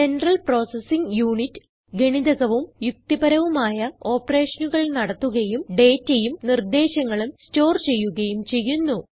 central processing unit ഗണിതകവും യുക്തിപരവുമായ ഓപ്പറേഷനുകൾ നടത്തുകയും dataയും നിർദേശങ്ങളും സ്റ്റോർ ചെയ്യുകയും ചെയ്യുന്നു